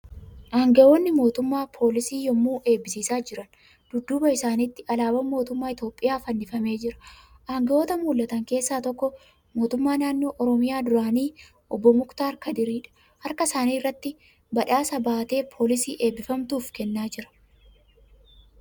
Aangaa'onni mootummaa poolisii yemmuu eebbisiisaa jiran. Dudduuba isaanitti Alaabaan mootummaaa Itiyoophiyaa fannifamee jira. Aangaa'ota mul'atan keessa tokko mootummaa naannoo Oromiyaa duraanii obbo Muktaar Kadiriidha. Harka isaa irratti baadhaasa baatee poolisii eebbifamtuuf kennaa jira.